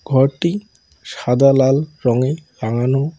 ঘরটি সাদা লাল রঙে রাঙানো।